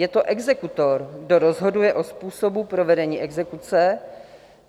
Je to exekutor, kdo rozhoduje o způsobu provedení exekuce.